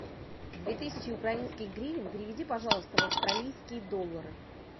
две тысячи украинских гривен переведи пожалуйста в австралийские доллары